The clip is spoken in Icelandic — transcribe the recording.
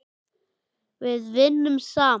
Við vinnum saman.